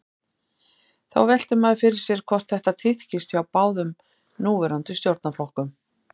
Þá veltir maður fyrir sér hvort þetta tíðkist hjá báðum núverandi stjórnarflokkum.